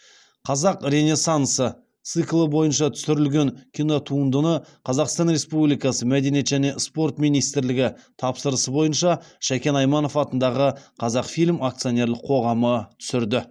қазақ ренессансы циклы бойынша түсірілген кинотуындыны қазақстан республикасы мәдениет және спорт министрлігі тапсырысы бойынша шәкен айманов атындағы қазақфильм акционерлік қоғамы түсірді